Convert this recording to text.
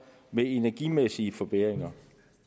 med energimæssige forbedringer